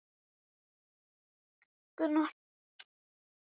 Átti erfitt með að kyngja þessu.